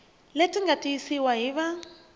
leti nga tiyisiwa hi va